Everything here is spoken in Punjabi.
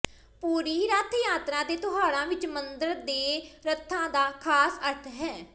ਪੁਰੀ ਰੱਥ ਯਾਤਰਾ ਦੇ ਤਿਉਹਾਰਾਂ ਵਿਚ ਮੰਦਰ ਦੇ ਰੱਥਾਂ ਦਾ ਖਾਸ ਅਰਥ ਹੈ